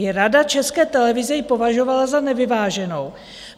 I Rada České televize ji považovala za nevyváženou.